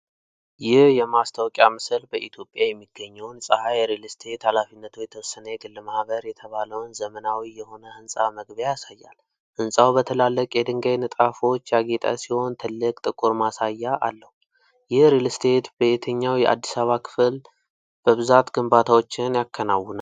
ይህ የማስታወቂያ ምስል በኢትዮጵያ የሚገኘውን “ጼሐሪ ሪል እስቴት ኃ.የተ.የግ.ማ” የተባለውን ዘመናዊ የሆነ ህንጻ መግቢያ ያሳያል። ሕንጻው በትላልቅ የድንጋይ ንጣፎች ያጌጠ ሲሆን፣ ትልቅ ጥቁር ማሳያ አለው። ይህ ሪል እስቴት በየትኛው የአዲስ አበባ ከተማ ክፍል በብዛት ግንባታዎችን ያከናውናል?